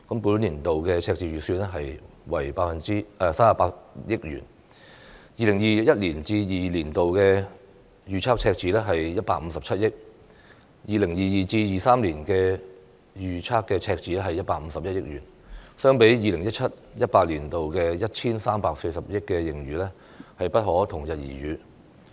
本年度赤字預算為38億元 ，2021-2022 年度預測赤字為157億元 ，2022-2023 年度預測赤字是151億元，相比 2017-2018 年度的 1,340 億元盈餘，不可同日而語。